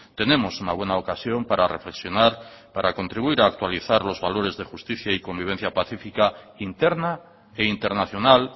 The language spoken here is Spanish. tenemos una buena ocasión para reflexionar para contribuir a actualizar los valores de justicia y convivencia pacífica interna e internacional